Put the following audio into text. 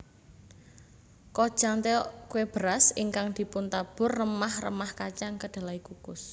Kkojang tteok kue beras ingkang dipuntabur remah remah kacang kedelai kukus